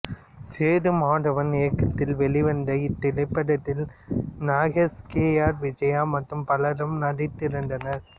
சேதுமாதவன் இயக்கத்தில் வெளிவந்த இத்திரைப்படத்தில் நாகேஷ் கே ஆர் விஜயா மற்றும் பலரும் நடித்திருந்தனர்